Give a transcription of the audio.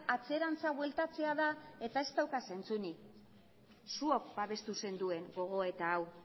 atzerantz bueltatzea da eta ez dauka zentzurik zuok babestu zenuten gogoeta hau